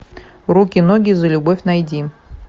руки ноги за любовь найди